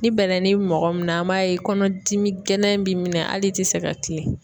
Ni bɛlɛni b'i mɔgɔ min na, an b'a ye kɔnɔdimi gɛlɛn b'i minɛ hali i tɛ se ka kilen.